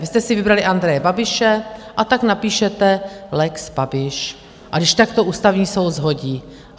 Vy jste si vybrali Andreje Babiše, a tak napíšete lex Babiš, a když tak to Ústavní soud shodí.